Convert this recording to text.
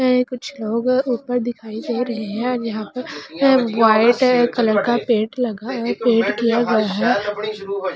कुछ लोग ऊपर दिखाई दे रहे हैं यहां पर वाइट कलर का पेंट लगा पेंट किया गया है।